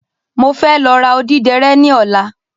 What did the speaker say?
Mo fẹ́ lọ ra odíderé ní ọ̀la